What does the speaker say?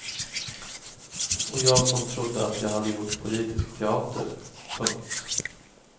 Och jag som trodde att jag hade gjort politisk teater. punkt